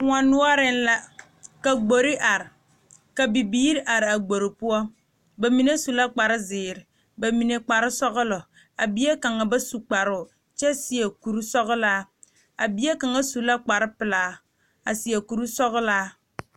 Kóɔ noɔreŋ la ka gbori are ka bibiiri araa gbori poɔ ba mine su la kpar zeere ba mine kpar sɔgelɔ a bie kaŋa ba su kparoo kyɛ seɛ kuri sɔgelaa a bie kaŋa su la kpar pelaa a seɛ kuri sɔglaa